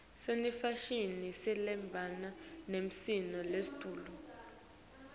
senefashini lehamba nesimo seletulu